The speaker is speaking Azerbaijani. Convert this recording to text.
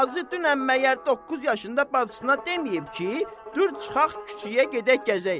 Axı dünən məyər doqquz yaşında bacısına deməyib ki, dur çıxaq küçəyə gedək gəzək?